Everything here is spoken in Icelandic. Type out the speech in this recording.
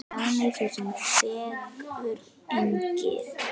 Dagný, sú sem dagur yngir.